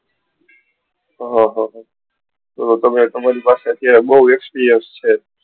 હન તો તમારી પાસે અત્યારે બૌ experience છે.